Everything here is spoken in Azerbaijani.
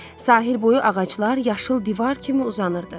Sahil boyu ağaclar yaşıl divar kimi uzanırdı.